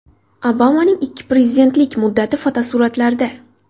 Obamaning ikki prezidentlik muddati fotosuratlarda.